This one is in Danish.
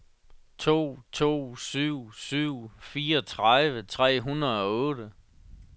to to syv syv fireogtredive tre hundrede og otte